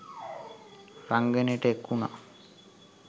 රංගනයට එක්වුණා